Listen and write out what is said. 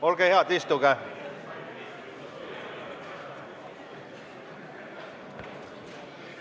Olge head, istuge!